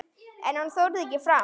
En hann þorði ekki fram.